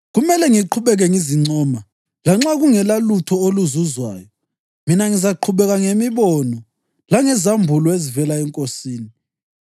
Kumele ngiqhubeke ngizincoma. Lanxa kungelalutho oluzuzwayo, mina ngizaqhubeka ngemibono langezambulo ezivela eNkosini.